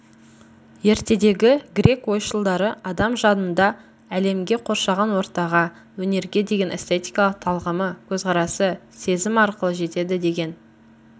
ертедегі грек ойшылдары адам жанында әлемге қоршаған ортаға өнерге деген эстетикалық талғамы көзқарасы сезім арқылы жетеді деген